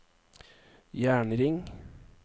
jernring